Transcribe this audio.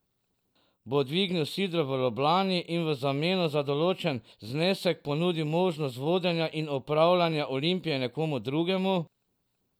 Bo dvignil sidro v Ljubljani in v zameno za določen znesek ponudil možnost vodenja in upravljanja Olimpije nekomu drugemu?